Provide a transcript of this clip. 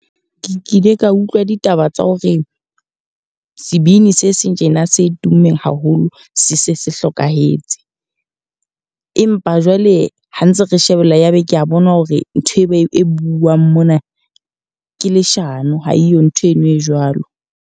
Ke kile ka utlwa ditaba tsa hore sebini se seng tjena se tummeng haholo, se se se hlokahetse. Empa jwale ha ntse re shebella ya be ke a bona hore nthwe ba e buang mona ke leshano, ha e yo ntho eno e jwalo.